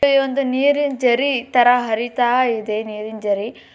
ಒಂದು ನೀರಿನ ಜರಿ ತರ ಹರಿತಾ ಇದೆ ನೀರಿನ ಜರಿ.